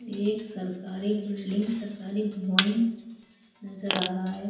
ये एक सरकारी बिल्डिंग सरकारी भवन नजर आ रहा है।